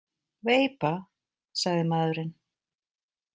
Veipa, sagði maðurinn.